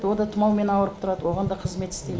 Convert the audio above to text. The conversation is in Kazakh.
ол да тұмаумен ауырып тұрады оған да қызмет істеймін